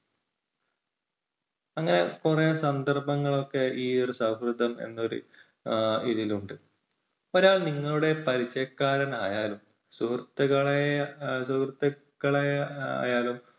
അങ്ങനെ കുറെ സന്ദർഭങ്ങൾ ഒക്കെ ഈ ഒരു സൗഹൃദം എന്ന ഒരു ഈ ഇതിലുണ്ട്. ഒരാൾ നിങ്ങളുടെ പരിചയക്കാരൻ ആയാലും സുഹൃത്തുക്കളെ സുഹൃത്തുക്കളെ ആയാലും